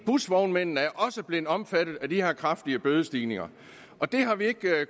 busvognmændene er også blevet omfattet af de her kraftige bødestigninger og det har vi ikke